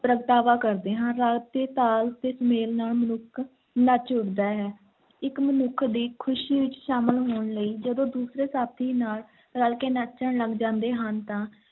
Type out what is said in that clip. ਪ੍ਰਗਟਾਵਾ ਕਰਦੇ ਹਾਂ, ਰਾਗ ਤੇ ਤਾਲ ਦੇ ਮੇਲ ਨਾਲ ਮਨੁੱਖ ਨੱਚ ਉੱਠਦਾ ਹੈ, ਇੱਕ ਮਨੁੱਖ ਦੀ ਖ਼ੁਸ਼ੀ ਵਿੱਚ ਸ਼ਾਮਲ ਹੋਣ ਲਈ ਜਦੋਂ ਦੂਸਰੇ ਸਾਥੀ ਨਾਲ ਰਲ ਕੇ ਨੱਚਣ ਲੱਗ ਜਾਂਦੇ ਹਨ ਤਾਂ